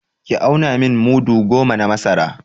Ki auna min mudu goma na masara!